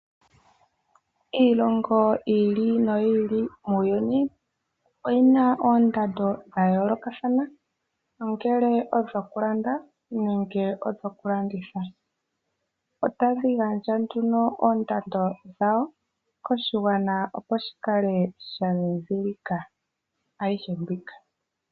Iilongo yiili noyili muuyuni oyina oondando dhayoolokathana ongele odho ku landa nenge dhoku landitha. Otadhi gandja nduno oondando dhawo koshigwana opo shikale sha dhidhilike ayihe mbika.